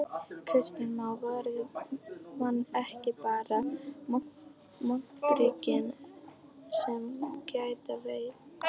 Kristján Már: Verða menn ekki bara moldríkir sem geta veitt?